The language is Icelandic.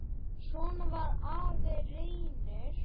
Svona var afi Reynir.